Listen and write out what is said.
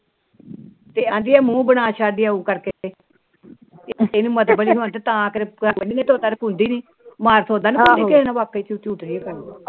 ਆਦੀ ਏ ਮੁੰਹ ਵਣਾ ਸ਼ਾਦੀ ਆਓ ਕਰਕੇ ਤਾ